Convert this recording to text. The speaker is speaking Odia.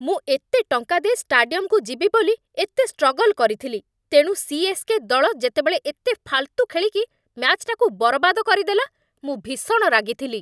ମୁଁ ଏତେ ଟଙ୍କା ଦେଇ ଷ୍ଟାଡିୟମକୁ ଯିବି ବୋଲି ଏତେ ଷ୍ଟ୍ରଗଲ୍‌ କରିଥିଲି, ତେଣୁ ସି.ଏସ୍.କେ. ଦଳ ଯେତେବେଳେ ଏତେ ଫାଲ୍‌ତୁ ଖେଳିକି ମ୍ୟାଚ୍‌ଟାକୁ ବରବାଦ କରିଦେଲା ମୁଁ ଭୀଷଣ ରାଗିଥିଲି ।